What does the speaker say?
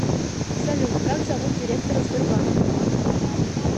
салют как зовут директора сбербанка